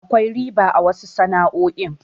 Akwai riba a wasu sana'o'i.